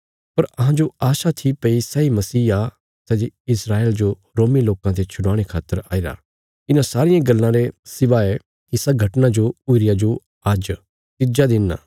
पर अहांजो आशा थी भई सैई मसीह आ सै जे इस्राएल जो रोमी लोकां ते छुड़ाणे खातर आईरा इन्हां सारियां गल्लां रे सिवाय इसा घटना जो हुई रिया जो आज्ज तिज्जा दिन आ